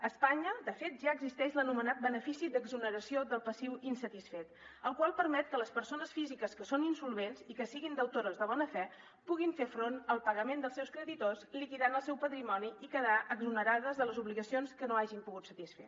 a espanya de fet ja existeix l’anomenat benefici d’exoneració del passiu insatisfet el qual permet que les persones físiques que són insolvents i que siguin deutores de bona fe puguin fer front al pagament dels seus creditors liquidant el seu patrimoni i quedar exonerades de les obligacions que no hagin pogut satisfer